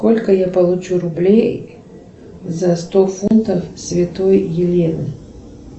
сколько я получу рублей за сто фунтов святой елены